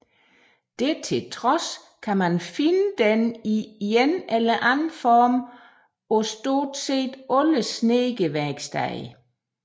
Det til trods kan man finde den i en eller anden form på stort set alle snedkerværksteder